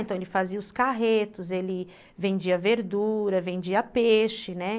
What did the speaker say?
Então, ele fazia os carretos, ele vendia verdura, vendia peixe, né?